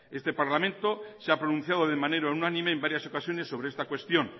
este parlamento se ha pronunciado de manera unánime en varias ocasiones sobre esta cuestión